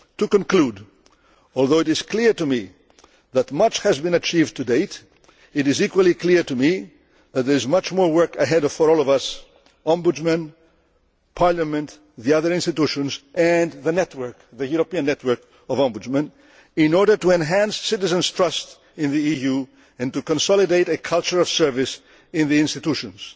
level. To conclude, although it is clear to me that much has been achieved to date, it is equally clear to me that there is much more work ahead for all of us Ombudsmen, Parliament, the other institutions and the European network of Ombudsmen in order to enhance citizens' trust in the EU and to consolidate a culture of service in the institutions.